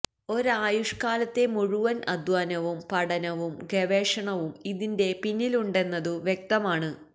ഒരായുഷ്കാലത്തെ മുഴുവൻ അധ്വാനവും പഠനവും ഗവേഷണവും ഇതിന്റെ പിന്നിലുണ്ടെന്നതു വ്യക്തമാണ്